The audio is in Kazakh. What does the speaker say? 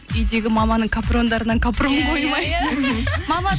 үйдегі маманың капрондарынан капрон қоймай иә иә